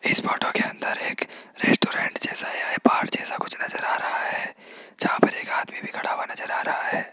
इस फोटो के अंदर एक रेस्टोरेंट जैसा या पहाड़ जैसा कुछ नजर आ रहा है जहां पर एक आदमी भी खड़ा हुआ नजर आ रहा है।